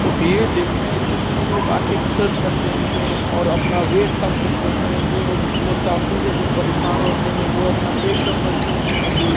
ये जिम है। जिम में लोग आ के कसरत करते हैं और अपना वेट कम करते हैं। जो म मोटापे से जो परेशान होते हैं वो अपना पेट कम करते हैं और जो --